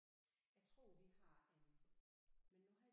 Jeg tror vi har en men nu har jeg